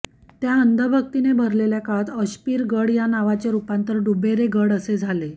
त्या अंधभक्तीने भरलेल्या काळात अशपीर गड या नावाचे रूपांतर डुबेरे गड असे झाले